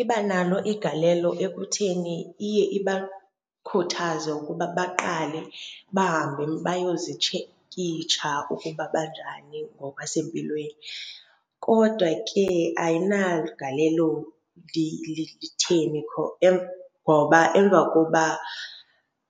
Iba nalo igalelo ekutheni iye ibakhuthaze ukuba baqale bahambe bayozitshekitsha ukuba banjani ngokwasempilweni. Kodwa ke ayinaligalelo litheni ngoba emva kokuba